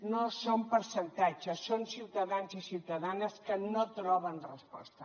no són percentatges són ciutadans i ciutadanes que no troben resposta